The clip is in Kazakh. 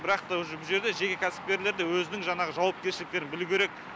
бірақ та уже бұл жерде жеке кәсіпкерлер де өзінің жаңағы жауапкершіліктерін білу керек